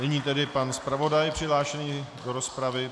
Nyní tedy pan zpravodaj přihlášený do rozpravy.